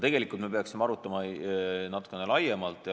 Tegelikult me peaksime arutama natuke laiemalt.